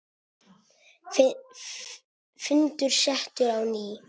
Fundur settur á ný.